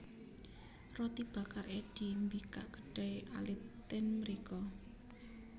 Roti Bakar Eddy mbikak kedai alit ten mriko